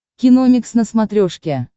киномикс на смотрешке